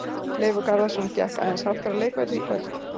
Leifur Garðarsson gekk aðeins sáttari af leikvelli í kvöld.